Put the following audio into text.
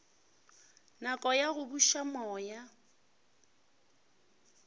nako ya go buša moya